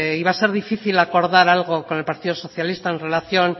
iba a ser difícil acordar algo con el partido socialista en relación